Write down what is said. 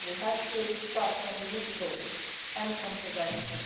We have to start from the root causes and from prevention.